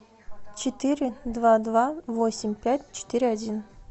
четыре два два восемь пять четыре один